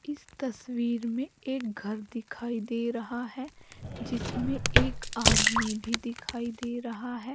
इस तस्वीर में एक घर दिखाई दे रहा है जिसमें एक आदमी भी दिखाई दे रहा है।